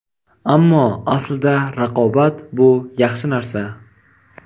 Ammo aslida, "Raqobat - bu yaxshi" narsa.